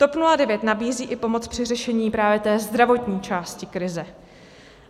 TOP 09 nabízí i pomoc při řešení právě té zdravotní části krize.